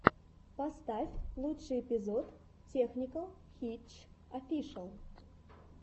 поставь лучший эпизод тэхникэл хитч офишэл